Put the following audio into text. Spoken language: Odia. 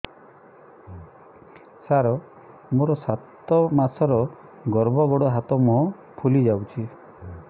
ସାର ମୋର ସାତ ମାସର ଗର୍ଭ ଗୋଡ଼ ହାତ ମୁହଁ ଫୁଲି ଯାଉଛି